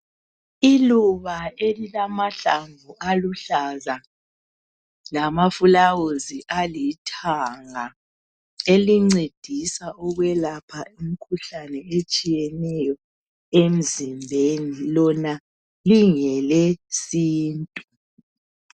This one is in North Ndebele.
Iluba elilamahlamvu aluhlaza lama flawuzi alithanga. Elincedisa ukwelapha imkhuhlane etshiyeneyo emzimbeni. Lona lingele sintu.